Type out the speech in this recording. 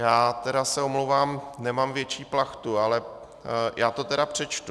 Já teda se omlouvám, nemám větší plachtu , ale já to teda přečtu.